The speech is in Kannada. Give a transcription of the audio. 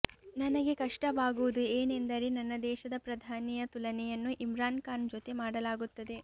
ನನಗೆ ಕಷ್ಟವಾಗುವುದು ಏನೆಂದರೆ ನನ್ನ ದೇಶದ ಪ್ರಧಾನಿಯ ತುಲನೆಯನ್ನು ಇಮ್ರಾನ್ ಖಾನ್ ಜೊತೆ ಮಾಡಲಾಗುತ್ತದೆ